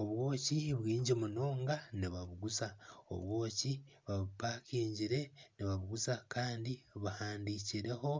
Obwoki bwingi munonga nibabuguza, obwoki babupakingire nibabuguza kandi buhandikireho